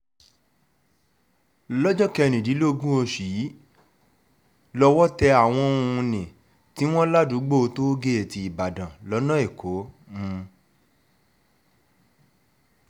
lọ́jọ́ kẹrìndínlógún oṣù yìí lowó tẹ àwọn um ní tiwọn ládùúgbò tóo gẹ̀ẹ́tì ìbàdàn lọ́nà ẹ̀kọ́ um